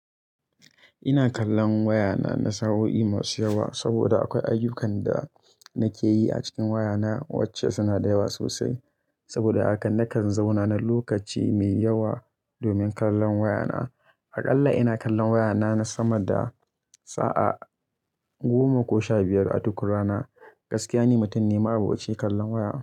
Ina kallon wayana na sa'o'i masu yawa saboda akwai ayyukan da nake yi a cikin wayana wacce suna da yawa sosai. Saboda haka nakan zauna na lokaci mai yawa domin kallon wayana. Aƙalla ina kallon wayana na sama da sa'a goma ko sha biyar a duk rana. Gaskiya ni, mutum ne ma'aboci kallon waya.